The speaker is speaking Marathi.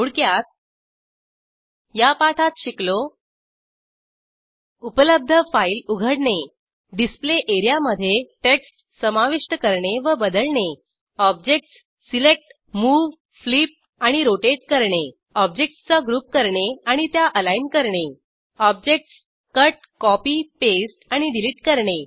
थोडक्यात या पाठात शिकलो उपलब्ध फाईल उघडणे डिस्प्ले एरियामधे टेक्स्ट समाविष्ट करणे व बदलणे ऑब्जेक्टस सिलेक्ट मूव फ्लिप आणि रोटेट करणे ऑब्जेक्टसचा ग्रुप करणे आणि त्या अलाईन करणे ऑब्जेक्टस कट कॉपी पास्ते आणि डिलीट करणे